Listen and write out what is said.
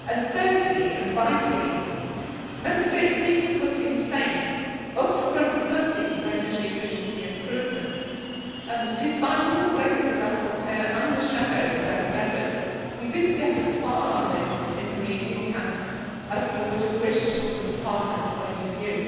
Thirdly, and vitally, Member States need to put in place upfront funding for energy efficiency improvements and, despite all the work of the rapporteur and the shadows' best efforts, we did not get as far on this in the recast as we would have wished from Parliament's point of view.